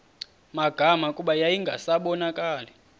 magama kuba yayingasabonakali